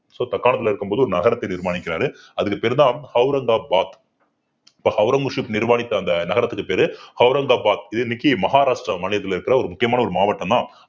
so தக்காணத்திலே இருக்கும்போது ஒரு நகரத்தை நிர்மாணிக்கிறாரு அதுக்கு பேருதான் அவுரங்காபாத் இப்ப ஔரங்கசீப் நிர்மாணித்த அந்த நகரத்துக்குப் பேரு அவுரங்காபாத் இது இன்னைக்கு மஹாராஷ்டிரா மாநிலத்தில இருக்கிற ஒரு முக்கியமான ஒரு மாவட்டம்தான்